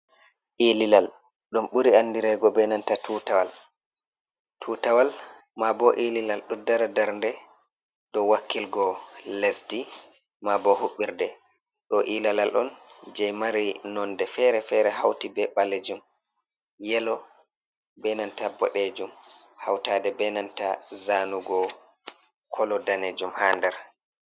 ililal ,dum buri andirego be nanta tutawal, ma bo ililal ,do dara darnde dow wakkilgo lesdi ,ma bo hubbirde, do ilalal on je mari nonde fere fere, hauti be balejum ,yelo benanta bodejum ,hautade benanta zanugo kolo danejum ha nder.